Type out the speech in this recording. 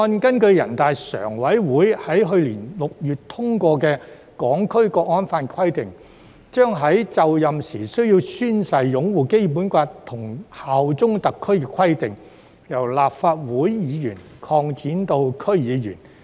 根據人大常委會在去年6月通過的《香港國安法》的規定，《條例草案》將立法會議員在就任時須宣誓擁護《基本法》及效忠特區的規定，擴展至區議員。